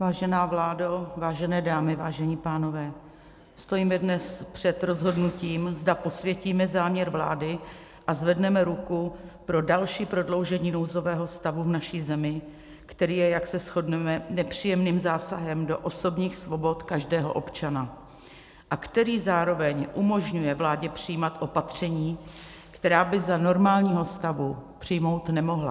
Vážená vládo, vážené dámy, vážení pánové, stojíme dnes před rozhodnutím, zda posvětíme záměr vlády a zvedneme ruku pro další prodloužení nouzového stavu v naší zemi, který je, jak se shodneme, nepříjemným zásahem do osobních svobod každého občana a který zároveň umožňuje vládě přijímat opatření, která by za normálního stavu přijmout nemohla.